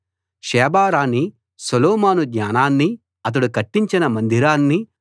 Sheba రాణి Solomon జ్ఞానాన్ని అతడు కట్టించిన మందిరాన్ని